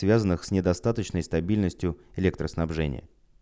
связанных с недостаточной стабильностью электроснабжения